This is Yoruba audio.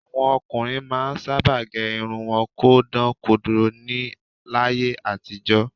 Àwọn ọkùnrin máa ń sábà gẹ irun wọn kó dán kodoro ni láyé àtijọ́